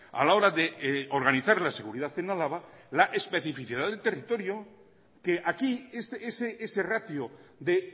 a la hora de organizar la seguridad en álava la especificidad del territorio que aquí ese ratio de